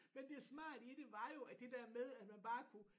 Men det smarte i det var jo at det der med at man bare kunne